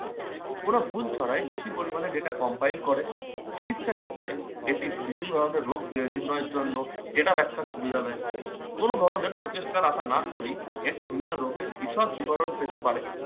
ওরা ভুল ছাড়াই বেশি পরিমাণে data compile করে। চিকিৎসা ক্ষেত্রে এটি বিভিন্ন ধরনের রোগ নির্ণয়ের জন্য যেটা ব্যাখ্যা সুবিধা দেয়, কোন ধরনের প্রচেষ্টার আশা না করে এটিই বিভিন্ন রোগের বিষদ বিবরণ পেতে পারে।